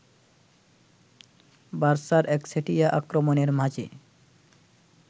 বার্সার একচেটিয়া আক্রমণের মাঝে